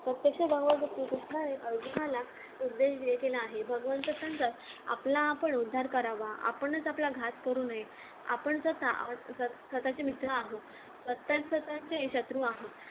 प्रत्यक्ष भगवान श्रीकृष्णाने अर्जुनाला उपदेश देय केला आहे आपला आपण उद्धार करावा आपणच आपला घात करू नये आपण जर का आपणच स्वतचे मित्र आहोत स्वतःच स्वतःचे शत्रु आहोत